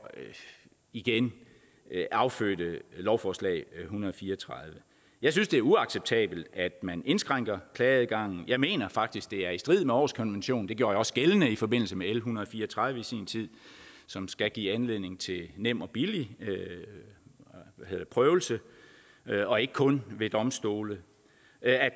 igen affødte lovforslag l en hundrede og fire og tredive jeg synes det er uacceptabelt at man indskrænker klageadgangen jeg mener faktisk at det er i strid med århuskonventionen det gjorde jeg også gældende i forbindelse med l en hundrede og fire og tredive i sin tid som skal give anledning til nem og billig prøvelse og ikke kun ved domstole